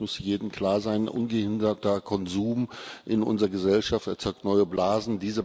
Ich glaube, das muss jedem klar sein. Ungehinderter Konsum in unserer Gesellschaft erzeugt neue Blasen.